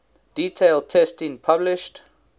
detailed testing published